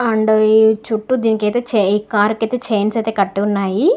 And ఈ చుట్టూ దీనికి చుట్టూ చై కార్ కి చాయిన్స్ అయితే కట్టి ఉన్నాయి.